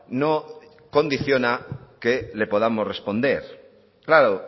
no condiciona que le podamos responder claro